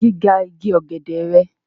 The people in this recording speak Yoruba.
Kini giga igi ogede rẹ?